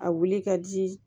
A wuli ka di